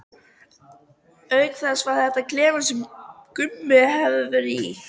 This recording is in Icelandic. Auk þess var þetta klefinn sem Gummi hafði verið í.